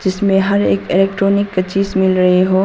इसमें हर एक इलेक्ट्रॉनिक की चीज मिल रही हो।